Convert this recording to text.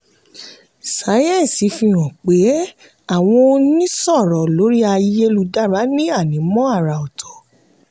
sáyẹ́ǹsì fihàn pé àwọn onísọ̀rọ̀ lórí ayélujára ní ànímọ́ àrà ọ̀tọ̀.